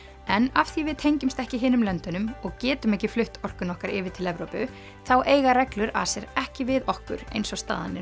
en af því við tengjumst ekki hinum löndunum og getum ekki flutt orkuna okkar yfir til Evrópu þá eiga reglur ACER ekki við okkur eins og staðan er